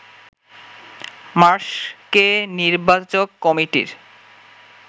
মার্শকে নির্বাচক কমিটির